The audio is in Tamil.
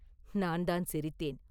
“நான்தான் சிரித்தேன்!